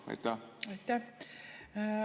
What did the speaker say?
Aitäh!